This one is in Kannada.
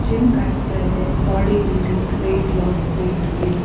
ಜಿಮ್ ಕಾಣಿಸ್ತಾ ಇದೆ body building weight loss weight gain -